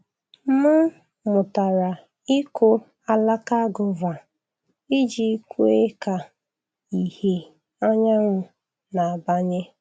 M mụtara ịkụ alaka guava iji kwe ka ìhè anyanwụ na-abanye.